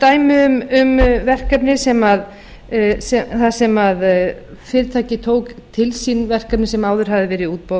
dæmi um verkefni sem fyrirtæki tók til sín verkefni sem áður hafði verið í